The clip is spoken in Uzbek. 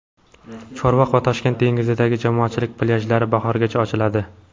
Chorvoq va Toshkent dengizidagi jamoatchilik plyajlari bahorgacha ochiladi.